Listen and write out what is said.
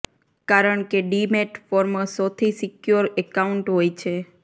કારણ કે demat form સોથી સિક્યોર એકાઉન્ટ હોય છે